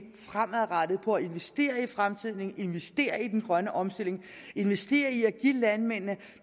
på at investere i fremtiden investere i den grønne omstilling investere i at give landmændene